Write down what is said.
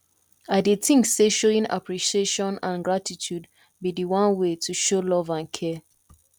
i dey think say showing appreciation and gratitude be di one way to show love and care